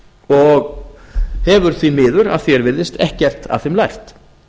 og hefur því miður að því er virðist ekkert af þeim lært